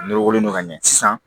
Nɔrɔ wolonugu ka ɲɛ sisan